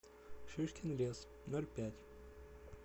шишкин лес ноль пять